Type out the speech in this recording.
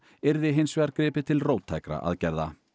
yrði hins vegar gripið til róttækra aðgerða